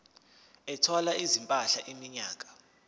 ethwala izimpahla iminyaka